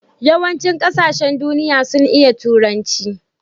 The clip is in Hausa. yawan cin ƙasashen duniya sun iya turanci